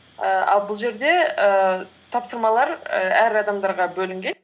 ііі ал бұл жерде ііі тапсырмалар і әр адамдарға бөлінген